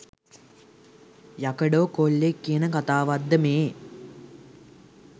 යකඩෝ කොල්ලෙක් කියන කතාවක්ද මේ?